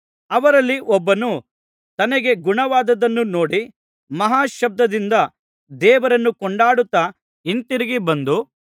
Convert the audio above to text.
ಅವರಲ್ಲಿ ಒಬ್ಬನು ತನಗೆ ಗುಣವಾದದ್ದನ್ನು ನೋಡಿ ಮಹಾಶಬ್ದದಿಂದ ದೇವರನ್ನು ಕೊಂಡಾಡುತ್ತಾ ಹಿಂತಿರುಗಿ ಬಂದು